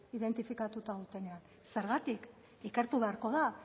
identifikatuta dutenean zergatik ikertu beharko da